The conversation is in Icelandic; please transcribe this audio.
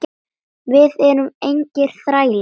Við erum engir þrælar.